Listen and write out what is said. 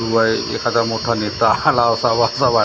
किंवा एखादा मोठा नेता आला असा असा वाटतंय .